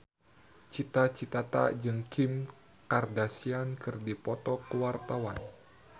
Cita Citata jeung Kim Kardashian keur dipoto ku wartawan